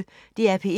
DR P1